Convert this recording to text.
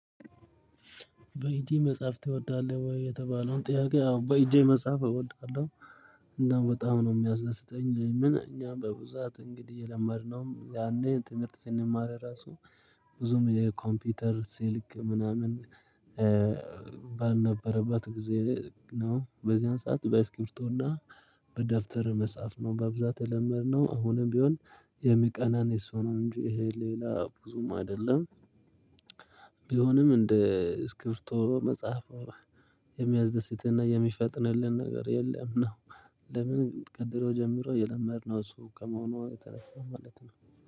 በእጄ መጻፍ ትወዳለሁ ወይ የተባለውን ጥያቄ አዎ በእጄ መጻፍ እወዳለሁ። እንደው በጣም ነው የሚያስደስተኝ ምን እኛ በብዛት እንግዲህ የለመድነው ያኔ ትምህርት ስንማር ራሱ ብዙም የኮምፒውተር ስልክ ምናምን። ባልነበረበት ጊዜ ነው በዚያን ሰዓት በእስክርቢቶ እና በደብተር መጻፍ ነው በብዛት የለመድነው አሁንም ቢሆን። የሚቀናን የሰው ነው እንጂ ይሄ ሌላ ብዙም አይደለም። ቢሆንም እንደ እስክቢርቶ መጻፍ የሚያደስትና የሚፈጥንልን ነገር የለም ነው። ለምን ቀድረው ጀምሮ የለመድነው እሱ ከመሆኑ የተነሳው ማለት ነው